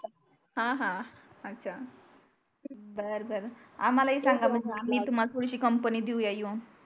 हा हा अच्छा बर बर आम्हालाही सांगा मग मी तुम्हास थोडीशी कंपनी देऊया येऊन